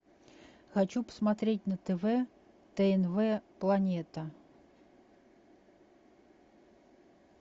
хочу посмотреть на тв тнв планета